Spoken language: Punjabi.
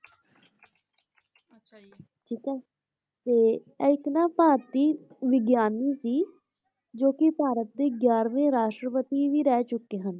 ਠੀਕ ਹੈ ਤੇ ਇਹ ਇੱਕ ਨਾ ਭਾਰਤੀ ਵਿਗਿਆਨੀ ਸੀ, ਜੋ ਕਿ ਭਾਰਤ ਦੇ ਗਿਆਰਵੇਂ ਰਾਸ਼ਟਰਪਤੀ ਵੀ ਰਹਿ ਚੁੱਕੇ ਹਨ,